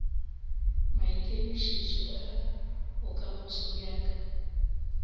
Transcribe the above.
maikemišetšo a bokamoso bja ka